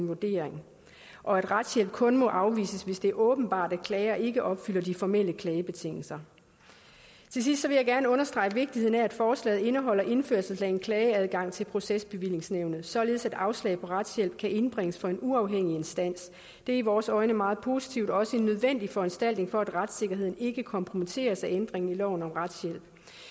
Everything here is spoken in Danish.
vurdering og at retshjælp kun må afvises hvis det er åbenbart at klager ikke opfylder de formelle klagebetingelser til sidst vil jeg gerne understrege vigtigheden af at forslaget indeholder indførelse af en klageadgang til procesbevillingsnævnet således at afslag på retshjælp kan indbringes for en uafhængig instans det er i vores øjne en meget positiv og også nødvendig foranstaltning for at retssikkerheden ikke kompromitteres af ændringen i loven om retshjælp